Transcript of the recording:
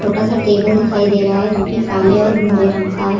छोटा सा टेबल दिखाई दे रहा है जोकि काले और भूरे रंग का है।